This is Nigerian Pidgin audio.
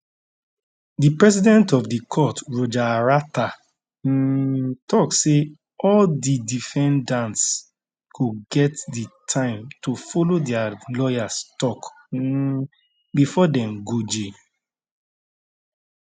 di president of di court roger arata um tok say all di defendants go get di time to follow dia lawyers tok um bifor dem go jail